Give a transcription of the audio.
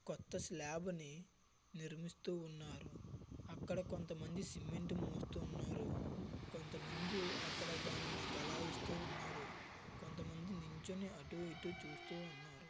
కొత్త స్లాబ్ ని నిర్మిస్తూ ఉన్నారు. అక్కడ కొంత మంది సిమెంట్ మోస్తూ ఉన్నారు. కొంత మంది అక్కడ దానిని గలాయిస్తూ ఉన్నారు. కొంత మంది నించొని అటు ఇటు చూస్తూ ఉన్నారు.